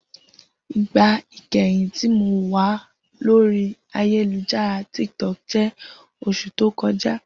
Igba ikẹhin ti Mo wa lori ayelujara Tik Tok jẹ oṣu to kọja.